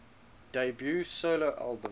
debut solo album